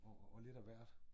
Og og lidt af hvert